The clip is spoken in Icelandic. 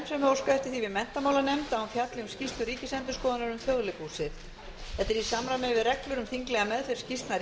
óskað eftir því við menntamálanefnd að hún fjalli um skýrslu ríkisendurskoðunar um þjóðleikhúsið þetta er í samræmi við reglur um þinglega meðferð skýrslna